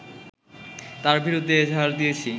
তার বিরুদ্ধে এজাহার দিয়েছি